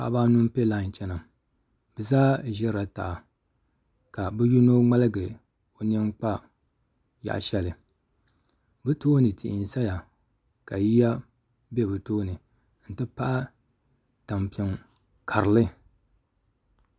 Paɣaba anu n piɛ lai chɛna bi zaa ʒirila taha ka bi yino ŋmaligu o nini kpa yaɣa shɛli bi tooni tihi n saya ka yiya bɛ bi tooni n ti pahi tampiŋ karili